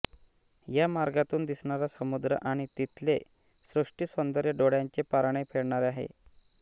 या मार्गातून दिसणारा समुद्र आणि तिथले सृष्टीसौंदर्य डोळ्यांचे पारणे फेडणारे आहे